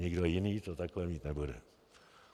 Nikdo jiný to takhle mít nebude.